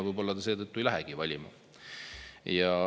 Võib-olla nad seetõttu ei lähegi valima.